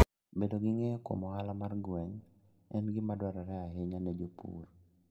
Bedo gi ng'eyo kuom ohala mar gweng' en gima dwarore ahinya ne jopur.